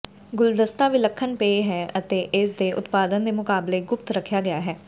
ਗੁਲਦਸਤਾ ਵਿਲੱਖਣ ਪੇਅ ਹੈ ਅਤੇ ਇਸ ਦੇ ਉਤਪਾਦਨ ਦੇ ਮੁਕਾਬਲੇ ਗੁਪਤ ਰੱਖਿਆ ਗਿਆ ਹੈ